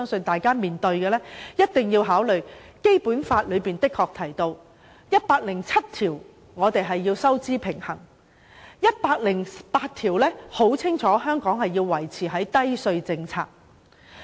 我們亦一定要考慮，《基本法》第一百零七條規定香港要力求收支平衡，第一百零八條則清楚訂明要實行低稅政策。